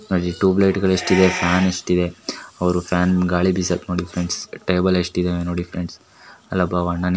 ಆಳಿತುಬ್ light ಗಳೆಷ್ಟಿವೆ fan ಎಷ್ಟಿದೆ ಅವ್ರು ಫ್ಯಾನ್ ಗಾಳಿಬೀಸಕ್ಕೆ ನೋಡಿ ಫ್ರೆಂಡ್ಸ್ ಟೇಬಲ್ ಎಷ್ಟಿದೆ --